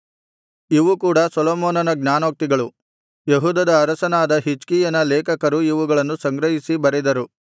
ಇವು ಕೂಡ ಸೊಲೊಮೋನನ ಜ್ಞಾನೋಕ್ತಿಗಳು ಯೆಹೂದದ ಅರಸನಾದ ಹಿಜ್ಕೀಯನ ಲೇಖಕರು ಇವುಗಳನ್ನು ಸಂಗ್ರಹಿಸಿ ಬರೆದರು